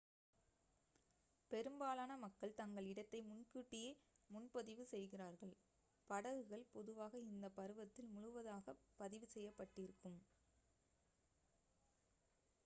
பெரும்பாலான மக்கள் தங்கள் இடத்தை முன்கூட்டியே முன்பதிவு செய்கிறார்கள் படகுகள் பொதுவாக இந்த பருவத்தில் முழுவதாகப் பதிவு செய்யப்பட்டிருக்கும்